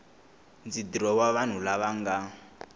ndzi dirowa vanhu lava nga